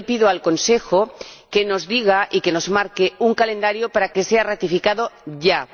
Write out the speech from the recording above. Yo le pido al Consejo que nos diga y que nos marque un calendario para que sea ratificado ya.